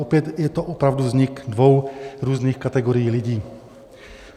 Opět, je to opravdu vznik dvou různých kategorií lidí.